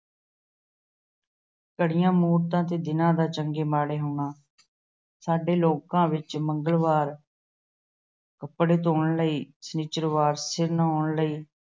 ਘੜੀਆਂ, ਮੌਤਾਂ ਤੇ ਦਿਨਾਂ ਦਾ ਚੰਗੇ ਮਾੜੇ ਹੋਣਾ- ਸਾਡੇ ਲੋਕਾਂ ਵਿੱਚ ਮੰਗਲਵਾਰ ਕੱਪੜੇ ਧੇੋਣ ਲਈ, ਸ਼ਨਿਚਰਵਾਰ ਸਿਰ ਨਹਾਉਣ ਲਈ,